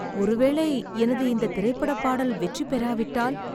ஒருவேளை எனது இந்தத் திரைப் படப் பாடல் வெற்றி பெறாவிட்டால்?